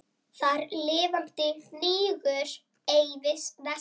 Þar lifandi hnígur ei vessi.